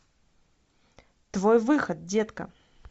твой выход детка